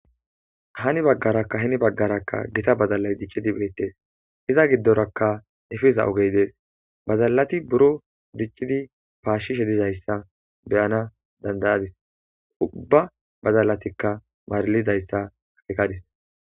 Hani bagaraka hini bagarakka gita badalay dic'idi betes iza gidoraka efiza ogey des badalati buro dic'idi pashishe dizaysa be'ana danda'adis uba badalatika marlidaysa akekadis.